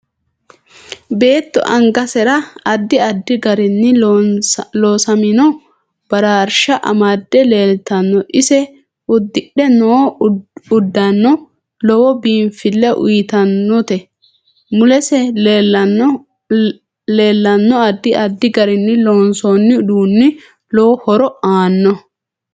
Beetto angasera addi addi garinni loosaminno bararsha amade leeltanno ise udidhe noo uddanno lowo biinfile uyiitanote mulese leelanno addi addi garinni loonsooni uduuni lowo horo aaanoho